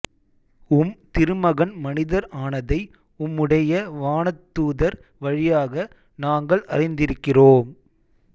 உம் திருமகன் மனிதர் ஆனதை உம்முடைய வானதூதர் வழியாக நாங்கள் அறிந்திருக்கிறோம்